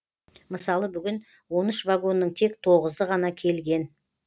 мысалы бүгін он үш вагонның тек тоғызы ғана келген